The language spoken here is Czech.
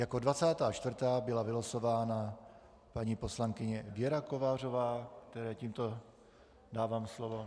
Jako 24. byla vylosována paní poslankyně Věra Kovářová, které tímto dávám slovo.